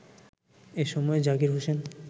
এ সময় জাকির হোসেন